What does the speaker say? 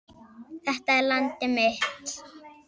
Þetta er landið mitt.